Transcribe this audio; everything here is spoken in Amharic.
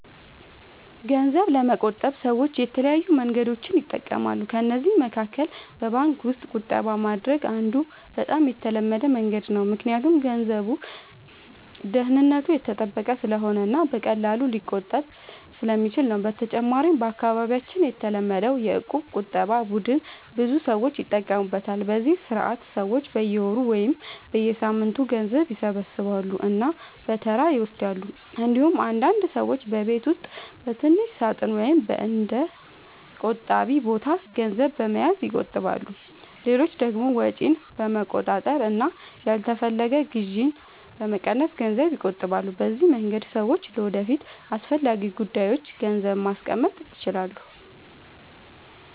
ገንዘብ ለመቆጠብ ሰዎች የተለያዩ መንገዶችን ይጠቀማሉ። ከእነዚህ መካከል በባንክ ውስጥ ቁጠባ ማድረግ አንዱ በጣም የተለመደ መንገድ ነው፣ ምክንያቱም ገንዘቡ ደህንነቱ የተጠበቀ ስለሆነ እና በቀላሉ ሊቆጠብ ስለሚችል ነው። በተጨማሪም በአካባቢያችን የተለመደው የእቁብ ቁጠባ ቡድን ብዙ ሰዎች ይጠቀሙበታል፤ በዚህ ስርዓት ሰዎች በየወሩ ወይም በየሳምንቱ ገንዘብ ይሰበስባሉ እና በተራ ይወስዳሉ። እንዲሁም አንዳንድ ሰዎች በቤት ውስጥ በትንሽ ሳጥን ወይም በእንደ “ቆጣቢ ቦታ” ገንዘብ በመያዝ ይቆጥባሉ። ሌሎች ደግሞ ወጪን በመቆጣጠር እና ያልተፈለገ ግዢ በመቀነስ ገንዘብ ይቆጥባሉ። በዚህ መንገድ ሰዎች ለወደፊት አስፈላጊ ጉዳዮች ገንዘብ ማስቀመጥ ይችላሉ።